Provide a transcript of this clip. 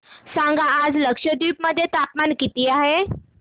सांगा आज लक्षद्वीप मध्ये तापमान किती आहे